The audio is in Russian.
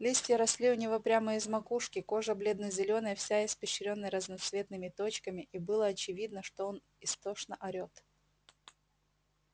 листья росли у него прямо из макушки кожа бледно-зелёная вся испещрённая разноцветными точками и было очевидно что он истошно орет